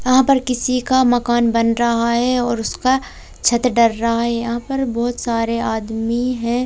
यहां पर किसी का मकान बन रहा है और उसका छत डर रहा है यहां पर बहोत सारे आदमी हैं।